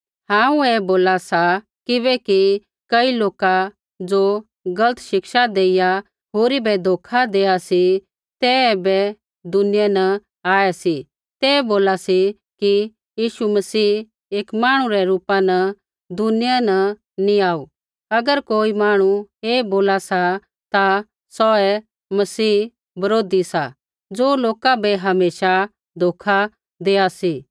हांऊँ ऐ बोला सा किबैकि कई लोका ज़ो गलत शिक्षा देइया होरी बै धोखा देआ सी ते ऐबै दुनिया न आऐ सी ते बोला सी कि यीशु मसीह एक मांहणु रै रूपा न दुनिया न नी आऊ अगर कोई मांहणु ऐ बोला सा ता सौऐ मसीह बरोधी सा ज़ो लोका बै हमेशा धोखा देआ सा